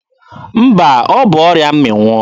Mba, ọ bụ ọrịa mmịnwụ.